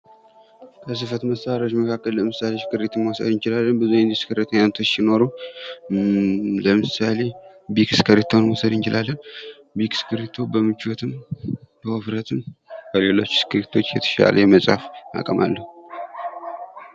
ከፅህፈት መሳሪያዎች መካከል እስክፕሪቶን መውሰድ እንችላለን ።ለምሳሌ፡-ቢክ እስክፕሪቶ በውበትም በውፍረትም የተሻለ የመፃፍ ብቃት አለው ።